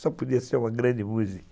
Só podia ser uma grande música.